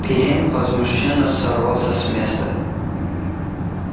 пиренн возмущённо сорвался с места